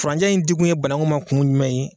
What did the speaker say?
Furanjɛ in di kun ye banaku ma kun jumɛn ye?